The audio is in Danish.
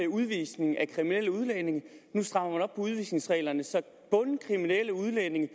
udvisning af kriminelle udlændinge nu strammer på udvisningsreglerne så bundkriminelle udlændinge